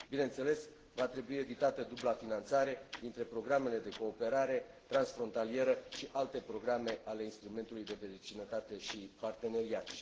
Bineînțeles, va trebui evitată dubla finanțare dintre programele de cooperare transfrontalieră și alte programe ale Instrumentului de Vecinătate și Parteneriat.